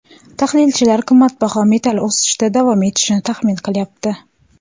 Tahlilchilar qimmatbaho metall o‘sishda davom etishini taxmin qilyapti.